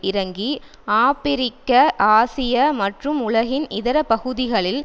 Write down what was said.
இறங்கி ஆபிரிக்க ஆசியா மற்றும் உலகின் இதர பகுதிகளில்